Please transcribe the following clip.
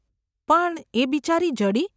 ‘પણ એ બિચારી જડી !.